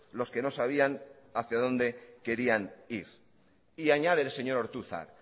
los que no sabían hacia donde querían ir y añade el señor ortuzar